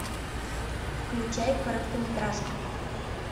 включай короткометражку